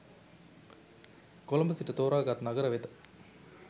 කොළඹ සිට තෝරාගත් නගර වෙත